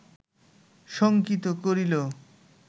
শঙ্কিত করিল